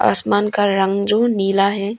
आसमान का रंग जो नीला है।